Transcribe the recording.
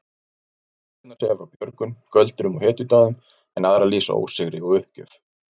Sumar sögurnar segja frá björgun, göldrum og hetjudáðum en aðrar lýsa ósigri og uppgjöf.